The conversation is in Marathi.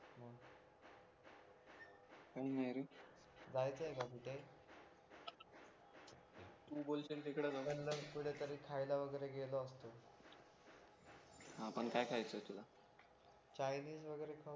काही नाही रे जायचंय का कुठे तू बोलशील तिकडे जाऊ चल मग कुठेतरी खायला वगैरे गेलो असतो हा पण काय खायचंय तुला चायनीज वगैरे खाऊ